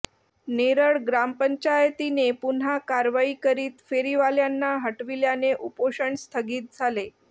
नेरळ ग्रामपंचायतीने पुन्हा कारवाई करीत फेरीवाल्यांना हटविल्याने उपोषण स्थगित झाले